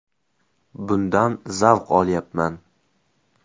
Bundan zavq olyapman.